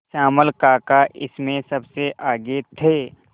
श्यामल काका इसमें सबसे आगे थे